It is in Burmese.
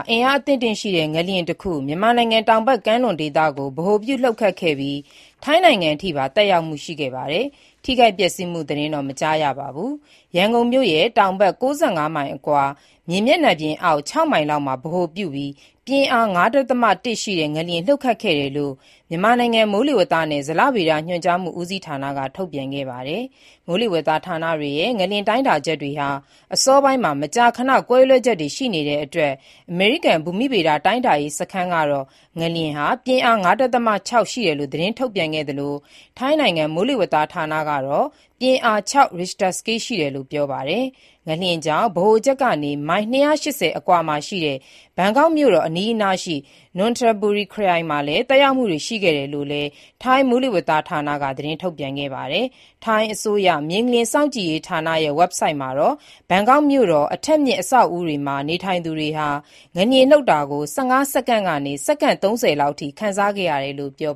အင်အားအသင့်အတင့်ရှိတဲ့ ငလျင်တခု မြန်မာနိုင်ငံ တောက်ဖက်ကမ်းလွန်ဒေသမှာ ဗဟိုပြုလှုပ်ခတ်ခဲ့ရာမှာ ထိုင်းနိုင်ငံအထိပါ သက်ရောက်မှု ရှိခဲ့ပြီး ထိခိုက်ပျက်စီးမှု သတင်းတော့ မကြားရပါဘူး။ ဒီနေ့ နံနက်ပိုင်းက ရန်ကုန်မြို့ရဲ့ တောင်ဘက် ၉၅ မိုင်ခန့်အကွာ၊ မြေမျက်နှာပြင်အောက် ၆ မိုင်လောက်မှာ ဗဟိုပြုပြီး ပြင်းအား ၅.၁ ရှိတဲ့ ငလျင်လှုပ်ခတ်ခဲ့တယ်လို့ မြန်မာနိုင်ငံ မိုးလေဝသနဲ့ ဇလဗေဒညွှန်ကြားမှု ဦးစီးဌာနက ထုတ်ပြန်ခဲ့ပါတယ်။ မိုးလေဝသဌာနတွေရဲ့ ငလျင်တိုင်းတာချက်တွေဟာ မကြာခဏ အစောပိုင်းမှာ ကွဲလွဲချက်တွေ ရှိတတ်ပါတယ်။ အမေရိကန် ဘူမိဗေဒ တိုင်းတာရေး စခန်းကတော့ ငလျင်ဟာ ပြင်းအား ၅.၆ ရှိတယ်လို့ သတင်းထုတ်ပြန်ခဲ့သလို၊ ထိုင်းနိုင်ငံ မိုးလေဝသဌာနကတော့ ပြင်းအား ၆ ရစ်ခ်ျတာစကေးရှိတယ်လို့ ပြောပါတယ်။ ငလျင်ကြောင့် ဗဟိုချက်ကနေ မိုင် ၂၈၀ ခန့်အကွာ ဘန်ကောက်မြို့တော်နဲ့ အနီးနားရှိ နွန်ထဘူရီခရိုင်တို့မှာ သက်ရောက်မှုတွေ ရှိခဲ့တယ်လို့လည်း ထိုင်းမိုးလေဝသဌာနက သတင်းထုတ်ပြန်ခဲ့တာပါ။ ထိုင်းအစိုးရ မြေငလျင်စောင့်ကြည့်ရေးဌာနရဲ့ ဝဘ်ဆိုဒ်မှာတော့ ဘန်ကောက်မြို့တော် အထပ်မြင့် အဆောက်အဦးတွေမှာ နေထိုင်သူတွေဟာ ငလျင်လှုပ်တာကို ၁၅ စက္ကန့်ကနေ၊ စက္ကန့် ၃၀ လောက်အထိ ခံစားခဲ့ရတယ်လို့ ဖော်